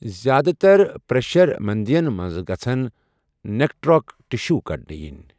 زِیٛادٕ تر پریشر میندین منٛز گژھن نیکراٹک ٹشو کڑنہٕ ینۍ۔